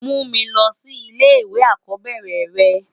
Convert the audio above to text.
Mú mi lòsi ilé iwé àkòbèrè rè